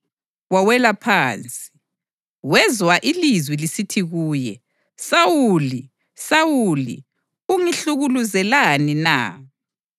Wawela phansi, wezwa ilizwi lisithi kuye, “Sawuli, Sawuli, ungihlukuluzelani na?”